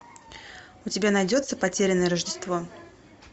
у тебя найдется потерянное рождество